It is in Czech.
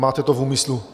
Máte to v úmyslu?